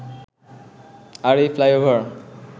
আর এই ফ্লাইওভার